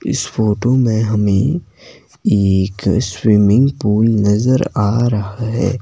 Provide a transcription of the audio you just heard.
इस फोटो में हमें एक स्विमिंग पूल नजर आ रहा है।